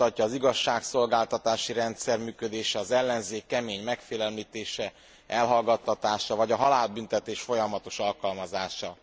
Ezt mutatja az igazságszolgáltatási rendszer működése, az ellenzék kemény megfélemlítése, elhallgattatása vagy a halálbüntetés folyamatos alkalmazása.